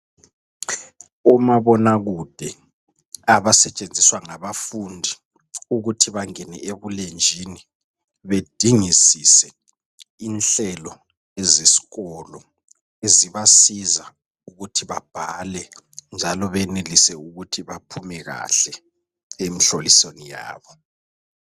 Omabonakude abasetshenziswa ngabafundi ukuthi bangene ebulenjini bedingisise inhlelo zesikolo. Zibasiza ukuthi babhale njalo benelise ukuthi baphume kahle emhlolisweni yabo.